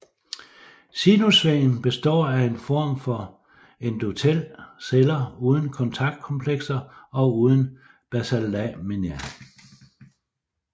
Sinusvæggen består af en form for endothel celler uden kontaktkomplekser og uden basallamina